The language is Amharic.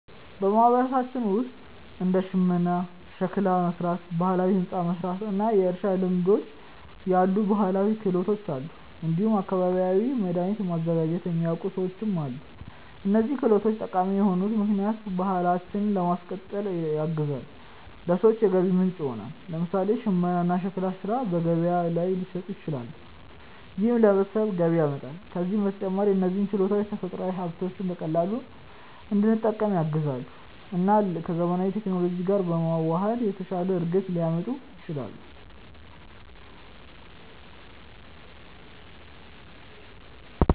በማህበረሰባችን ውስጥ እንደ ሽመና፣ ሸክላ መሥራት፣ ባህላዊ ሕንፃ መሥራት እና የእርሻ ልማዶች ያሉ ባህላዊ ክህሎቶች አሉ። እንዲሁም አካባቢያዊ መድኃኒቶችን ማዘጋጀት የሚያውቁ ሰዎችም አሉ። እነዚህ ክህሎቶች ጠቃሚ የሆኑት ምክንያቱም ባህላችንን ለማስቀጠል ያግዛሉ፣ ለሰዎችም የገቢ ምንጭ ይሆናሉ። ለምሳሌ ሽመና እና ሸክላ ሥራ በገበያ ላይ ሊሸጡ ይችላሉ፣ ይህም ለቤተሰቦች ገቢ ያመጣል። ከዚህ በተጨማሪ እነዚህ ችሎታዎች ተፈጥሯዊ ሀብቶችን በቀላሉ እንድንጠቀም ያግዛሉ እና ከዘመናዊ ቴክኖሎጂ ጋር በመዋሃድ የተሻለ እድገት ሊያመጡ ይችላሉ።